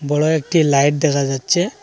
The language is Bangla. বড় একটি লাইট দেখা যাচ্ছে।